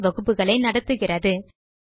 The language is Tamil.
செய்முறை வகுப்புகளை நடத்துகிறது